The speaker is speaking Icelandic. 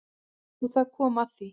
Og þar kom að því.